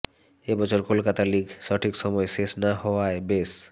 এবছর কলকাতা লিগ সঠিক সময়ে শেষ না হওয়ায় বেশ